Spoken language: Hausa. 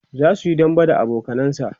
zasuyi dambe da abokanansa